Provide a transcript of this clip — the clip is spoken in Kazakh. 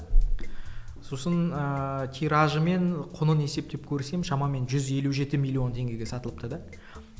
сосын ыыы тиражы мен құнын есептеп көрсем шамамен жүз елу жеті миллион теңгеге сатылыпты да